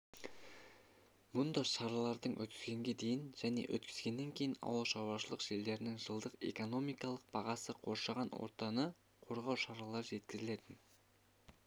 мұнда шаралардың өткізгенге дейін және өткізгеннен кейін ауылшаруашылық жерлерінің жылдық экономикалық бағасы қоршаған ортаны қорғау шаралары жүргізілетін